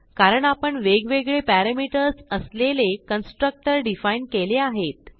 कारण आपण वेगवेगळे पॅरामीटर्स असलेले कन्स्ट्रक्टर डिफाईन केले आहेत